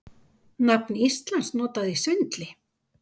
Nafn Íslands notað í svindli